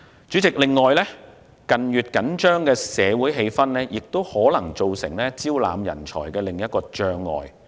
主席，近月緊張的社會氣氛可能造成招攬人才的另一障礙。